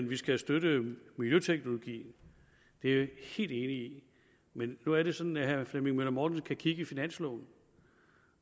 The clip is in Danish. vi skal støtte miljøteknologi det er jeg helt enig i men nu er det sådan at herre flemming møller mortensen kan kigge i finansloven